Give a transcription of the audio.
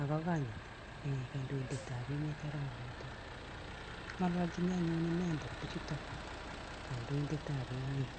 ak kakonyit [mh] kandoindetap emet Arap Ruto. Ng'alalchin anyun inendet bichuto, kandoindetap emet.